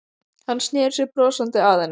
Hann sneri sér brosandi að henni.